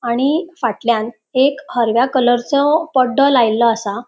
आणि फाटल्यान एक हरव्या कलरचो पडडो लायलो आसा.